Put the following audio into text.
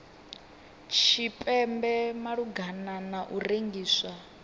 tshipembe malugana na u rengisiwa